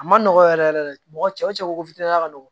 A ma nɔgɔn yɛrɛ yɛrɛ de mɔgɔ cɛ ko fitiniya ka nɔgɔn